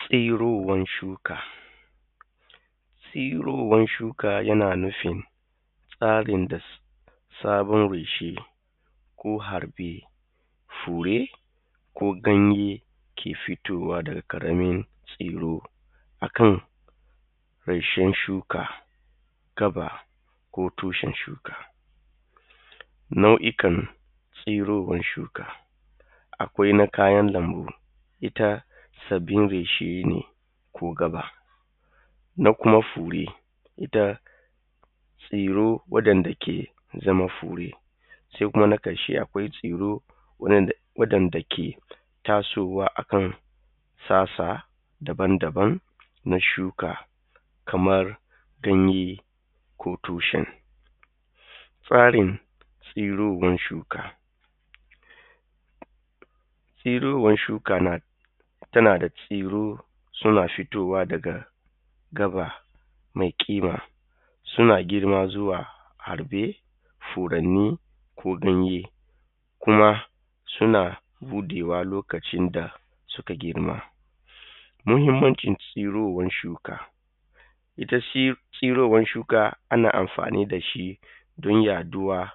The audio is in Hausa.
Tsurowar shuka, tsurowar shuka nanufin tsarin da sabon beshi ko harbe fure ko ganye ke fitowa daga ƙaramin tsuro a ƙarshen shuka gaɓa ko tushen shuka. Nau'ikan tsurowar shuka akwai kayan lambu ita sabbin reshe ne ko gaɓa. Ita kuma fure tsuro wanda suke zama fure. Sai kuma na ƙarshe akwai waɗanda ke tasowa a kan sassa daban-daban na shuka kamar ganye ko tushen. Tsarin tsurowar shuka, tsurowar shuka tana da tsuro suna fitowa daga gaɓa mai ƙima suna girma zuwa harbe furanni ko ɗanye kuma suna buɗewa loakcin da suka girma. Ita tsurowar shuka ana amfani da shi don yaɗuwa